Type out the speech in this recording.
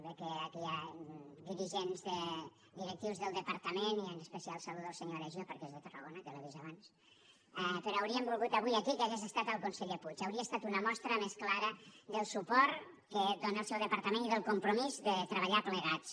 veig que aquí hi ha directius del departament i en especial saludo el senyor aregio perquè és de tarragona que l’he vist abans però hauríem volgut avui aquí que hi hagués estat el conseller puig hauria estat una mostra més clara del suport que dóna el seu departament i del compromís de treballar plegats